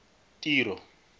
tiro